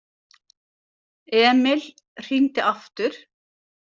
Emil hringdi aftur.